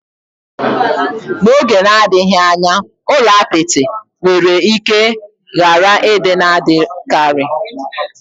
N'oge na-adịghị anya, ụlọ apịtị nwere ike ghara ịdị na-adịkarị.